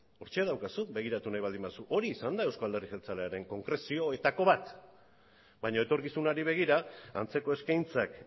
hortxe daukazu begiratu nahi baldin baduzu hori izan da euzko alderdi jeltzalearen konkrezioetako bat baina etorkizunari begira antzeko eskaintzak